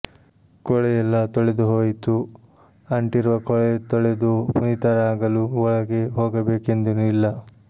ಕೊಳೆಯೆಲ್ಲಾ ತೊಳೆದು ಹೋಯಿತು ಅಂಟಿರುವ ಕೊಳೆತೊಳೆದು ಪುನೀತನಾಗಲು ಒಳಗೆ ಹೋಗಬೇಕೆಂದೇನೂ ಇಲ್ಲ